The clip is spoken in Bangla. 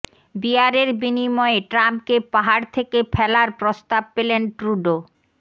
বিয়ারের বিনিময়ে ট্রাম্পকে পাহাড় থেকে ফেলার প্রস্তাব পেলেন ট্রুডো